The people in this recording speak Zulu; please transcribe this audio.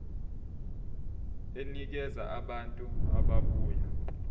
enikeza abantu ababuya